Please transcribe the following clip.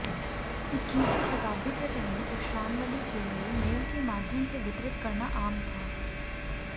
इक्कीसवीं शताब्दी से पहले प्रश्नावली के लिए मेल के माध्यम से वितरित करना आम था